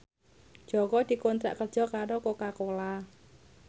Jaka dikontrak kerja karo Coca Cola